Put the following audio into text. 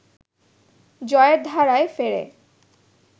জয়ের ধারায় ফেরে